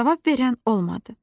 Cavab verən olmadı.